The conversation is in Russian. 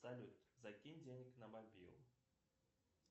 салют закинь денег на мобилу